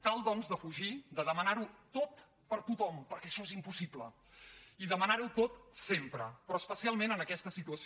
cal doncs defugir de demanar ho tot per a tothom perquè això és impossible i demanar ho tot sempre però especialment en aquesta situació